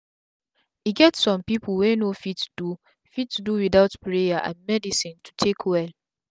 e get sum pipu wey no fit do fit do wit out prayer and medicine to take well